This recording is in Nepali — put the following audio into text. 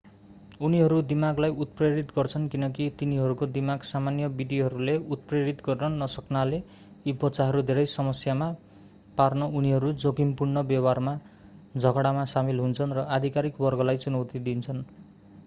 उनीहरू दिमागलाई उत्प्रेरित गर्छन् किनकि तिनीहरूको दिमाग सामान्य विधिहरूले उत्प्रेरित गर्न नसक्नाले यी बच्चाहरू धेरै समस्यामा पार्न उनीहरू जोखिमपूर्ण व्यवहारमा झगडामा सामेल हुन्छन् र अधिकारिक वर्गलाई चुनौती दिन्छन्